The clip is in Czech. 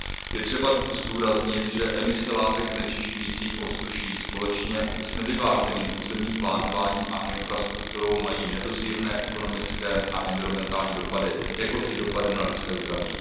Je třeba zdůraznit, že emise látek znečišťujících ovzduší společně s nevyváženým územním plánováním a infrastrukturou mají nedozírné ekonomické a environmentální dopady, jakož i dopady na lidské zdraví.